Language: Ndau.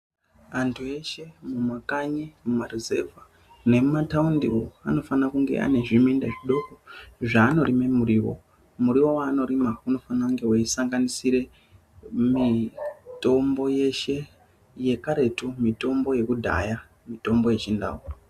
Antu eshe mumakanyi, mumaruzevha nemumataundiwo anofanira kunge ane zviminda zvidoko zvanorime muriwo. Muriwo wanorima unofanira kunge weisanganisire mitombo yeshe yekaretu, mitombo yekudhaya, mitombo yechindau.